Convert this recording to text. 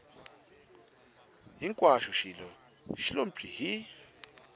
hinkwaxo xi lo pyi hi